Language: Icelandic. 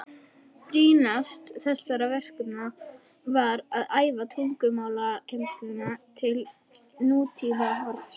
Brýnast þessara verkefna var að færa tungumálakennsluna til nútímahorfs.